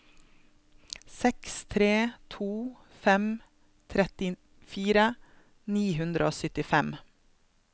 seks tre to fem trettifire ni hundre og syttifem